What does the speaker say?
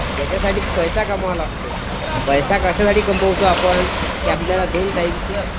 याच्यासाठी पैसा कमवावा लागतो. पैसा कशासाठी कमवतो आपण? की आपल्याला दोन टाईमच